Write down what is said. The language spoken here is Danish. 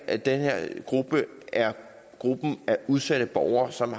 at den her gruppe er gruppen af udsatte borgere som